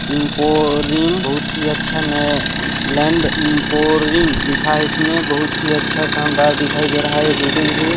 info रिम बोहोत ही अच्छा ने लैंडपोरिंग लिखा हैं इसमें बोहोत ही अच्छा शानदार दिखाई दे रहा हैं यह बिल्डिंग भी--